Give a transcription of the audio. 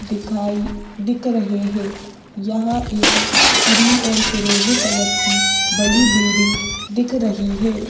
दिखाई दिख रहे हैं यहां एक क्रीम और फिरोजी कलर की बड़ी बिल्डिंग दिख रही है।